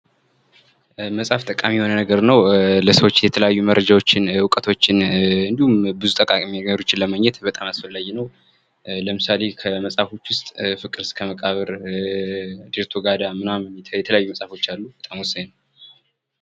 መጽሐፍ በጣም ጠቃሚ የሆነ ነገር ነው ለሰዎች መረጃዎችን እውቀቶችን እንዲሁም ብዙ ጠቃሚ የሆኑ ነገሮችን ለማግኘት አስፈላጊ ነው። ለምሳሌ ከመሀፎች ውስጥ ፍቅር እስከ መቃብርን፣ ዴርቶጋዳ ምናምን የተለያዩ መፅሀፎች አሉ በጣም ወሳኝ።